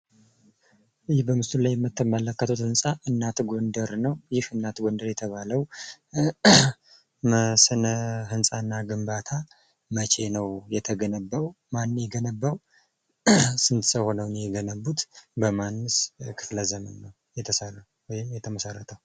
ይህ በምስሉ ላይ የምትመለከቱት ሕንፃ እናት ጎንደር ነዉ። ይህ እናት ጎንደር የተባለዉ ስነ ሕንፃ እና ግንባታ መቼ ነዉ የተገነባዉ? ማን ነዉ የገነባዉ? ስንት ሰዉ ሆነዉ ነዉ የገነቡት? በማንስ ክፍለ ዘመን ነዉ የተገነባዉ?